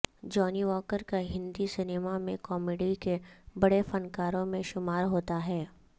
جانی واکر کا ہندی سینیما میں کامیڈی کے بڑے فنکاروں میں شمار ہوتا ہے